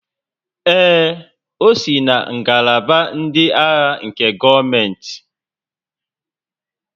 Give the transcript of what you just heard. Ee, o si na ngalaba ndị agha nke gọọmentị